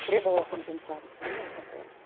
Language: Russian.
требовала компенсации ну вот такое